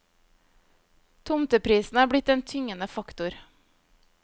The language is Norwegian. Tomteprisen har blitt en tyngende faktor.